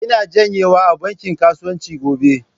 Ina janyewa a bankin kasuwanci gobe.